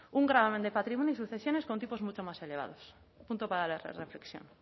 un gravamen de patrimonio y sucesiones con tipos mucho más elevados punto para la reflexión